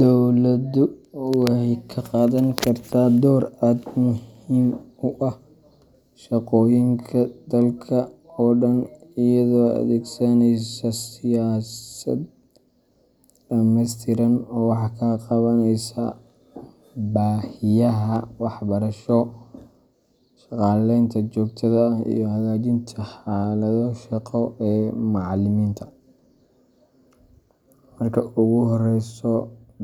Dowladdu waxay ka qaadan kartaa door aad muhiim u ah shaqooyinka macalimiinta dalka oo dhan iyadoo adeegsaneysa siyaasad dhameystiran oo wax ka qabaneysa baahiyaha waxbarasho, shaqaaleynta joogtada ah, iyo hagaajinta xaaladaha shaqo ee macalimiinta. Marka ugu horeysa,